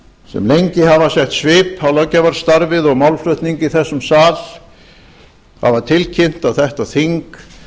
sem lengi hafa sett svip á löggjafarstarfið og málflutning í þessum sal hafa tilkynnt að þetta þing